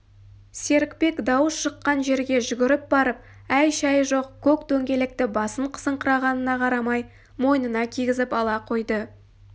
серікбек дауыс шыққан жерге жүгіріп барып әй-шай жоқ көк дөңгелекті басын қысыңқырағанына қарамай мойнына кигізіп ала қойды